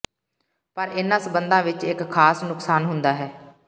ਪਰ ਇਨ੍ਹਾਂ ਸਬੰਧਾਂ ਵਿੱਚ ਇੱਕ ਖਾਸ ਨੁਕਸਾਨ ਹੁੰਦਾ ਹੈ